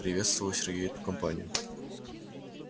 приветствовал сергей эту компанию